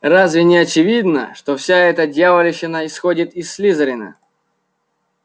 разве не очевидно что вся эта дьявольщина исходит из слизерина